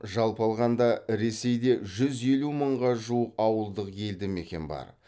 жалпы алғанда ресейде жүз елу мыңға жуық ауылдық елді мекен бар